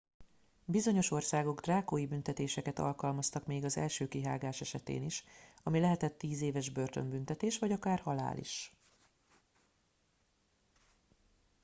bizonyos országok drákói büntetéseket alkalmaztak még az első kihágás esetén is ami lehetett 10 éves börtönbüntetés vagy akár halál is